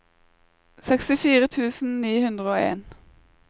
sekstifire tusen ni hundre og en